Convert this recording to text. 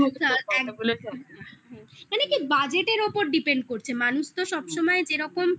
মানে কি budgeted ওপর depend করছে মানুষ তো সবসময় যেরকম